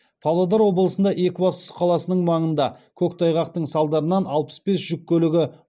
павлодар облысында екібастұз қаласының маңында көктайғақтың салдарынан алпыс бес жүк көлігі